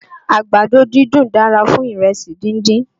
Àgbàdo dídùn dára fún ìrẹsì díndín